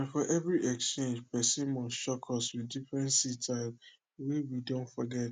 na for every exchange person must shock us with different seed type wey we don forget